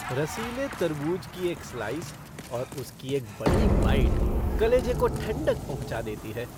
रसीले तरबूज की एक स्लाइस और उसकी एक बड़ी बाइट कलेजे को ठंडक पहुँचा देती है।